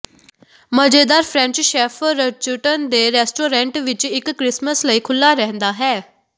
ਮਜ਼ੇਦਾਰ French chef ਰੌਚੁਟਨ ਦੇ ਰੈਸਟੋਰੈਂਟ ਵਿੱਚ ਇੱਕ ਕ੍ਰਿਸਮਸ ਲਈ ਖੁੱਲ੍ਹਾ ਰਹਿੰਦਾ ਹੈ